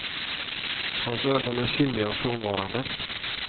Hans ögon är simmiga och frånvarande.